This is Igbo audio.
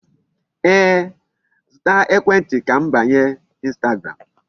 Ee, zụta ekwentị ka m banye Instagram.